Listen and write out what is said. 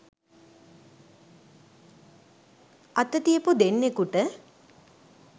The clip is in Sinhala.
අත තියපු දෙන්නෙකුට